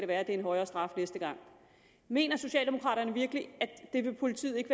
være det er en højere straf næste gang mener socialdemokraterne virkelig at politiet ikke